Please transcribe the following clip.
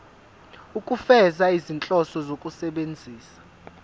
ukufeza izinhloso zokusebenzisa